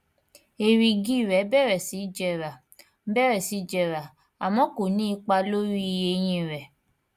èrìgì rẹ bẹrẹ sí jẹrà bẹrẹ sí jẹrà àmọ ko ní ipa lórí eyín rẹ